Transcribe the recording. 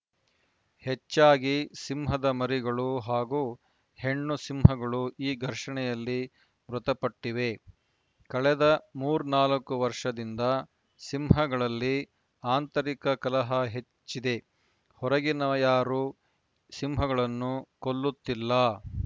ಹೆಚ್ಚಾಗಿ ಸಿಂಹದ ಮರಿಗಳು ಹಾಗೂ ಹೆಣ್ಣು ಸಿಂಹಗಳು ಈ ಘರ್ಷಣೆಯಲ್ಲಿ ಮೃತಪಟ್ಟಿವೆ ಕಳೆದ ಮೂರ್ನಾಲ್ಕು ವರ್ಷದಿಂದ ಸಿಂಹಗಳಲ್ಲಿ ಆಂತರಿಕ ಕಲಹ ಹೆಚ್ಚಿದೆ ಹೊರಗಿನವರಾರ‍ಯರೂ ಸಿಂಹಗಳನ್ನು ಕೊಲ್ಲುತ್ತಿಲ್ಲ